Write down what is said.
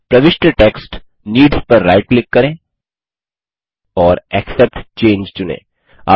प्रविष्ट text needs पर right click करें और एक्सेप्ट चंगे चुनें